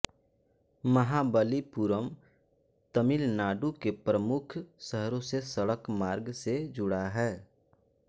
महाबलिपुरम तमिलनाडु के प्रमुख शहरों से सड़क मार्ग से जुड़ा है